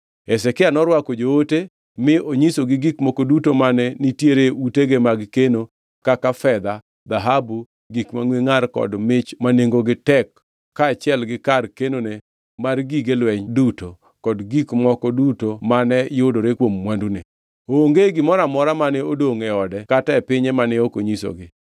Hezekia norwako joote mi onyisogi gik moko duto mane nitiere utege mag keno kaka fedha, dhahabu, gik mangʼwe ngʼar kod modhi ma nengogi tek kaachiel gi kar kenone mar gige lweny duto kod gik moko duto mane yudore kuom mwandune. Onge gimoro amora mane odongʼ e ode kata e pinye mane ok onyisogi.